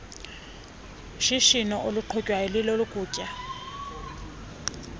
shishino luqhutywayo ilolokutya